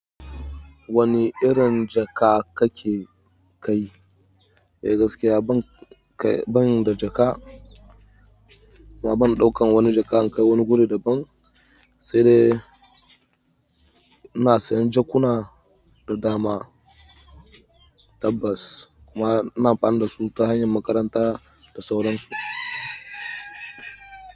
Wani irin jaka kake ka yi? Eh gaskiya ban da jaka kuma ban ɗaukan wani jaka in kai wani guri da ban. Sai dai ina sayan jakuna da dama tabbas kuma ina amfani da su ta hanyar makaranta da sauran su.